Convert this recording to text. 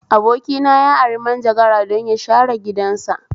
Abokina ya ari manjagara don ya share gidansa